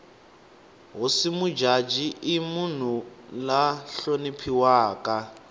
hosi mujaji i munhu la hloniphiwaka